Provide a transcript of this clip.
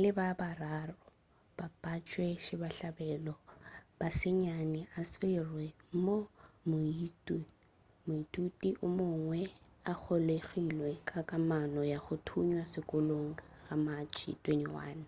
le ba bararo ba batšwasehlabelo ba senyane a swerwe moo moithuti o mongwe a golegilwego ka kamano ya go thunywa sekolong ka matšhe 21